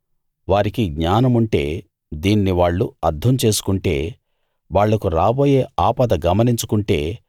వారికి జ్ఞానముంటే దీన్ని వాళ్ళు అర్థం చేసుకుంటే వాళ్లకు రాబోయే ఆపద గమనించుకుంటే